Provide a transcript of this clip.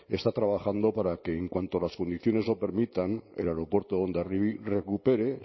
está trabajando para que en cuanto las condiciones lo permitan el aeropuerto de hondarribia recupere